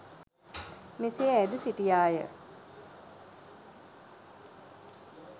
මෙසේ ඇයද සිටියාය